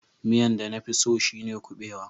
Miyan da na fi tso shine kubewa.